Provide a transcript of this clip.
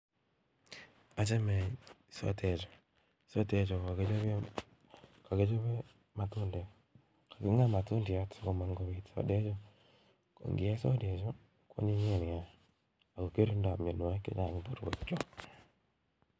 Achame sotek ju .sotek ju kakichope matundek kaking'a matundek sikopit sotek ju kongie kwanyiny naa akokirindoi mnyanwakik chechang'